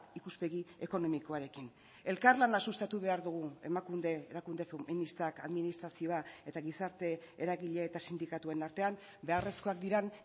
ikuspegi ekonomikoarekin elkarlana sustatu behar dugu emakunde erakunde feministak administrazioa eta gizarte eragile eta sindikatuen artean beharrezkoak diren